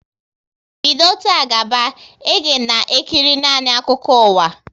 Bido taa gaba, e ga na ekiri nanị akụkọ ụwa!